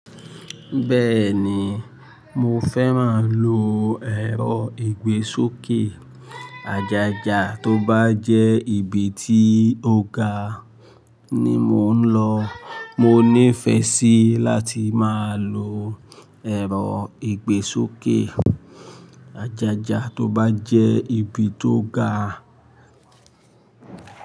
Bẹ́ẹ̀ni, mo fẹ́ máa lo ẹ̀rọ ìgbésókè àjájá tó bá jẹ́ ibi tí ó ga ni mò ń lọ. Mo ní ìfẹ́ sí láti máa lo ẹ̀rọ ìgbésókè àjájá tó bá jẹ́ ibi tó ga.